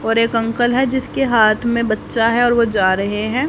और एक अंकल है जिसके हाथ में बच्चा है और वह जा रहे हैं।